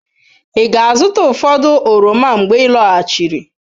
Ị ga-azụta ụfọdụ oroma mgbe ị lọghachiri?